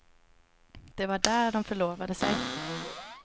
Det var där de förlovade sig.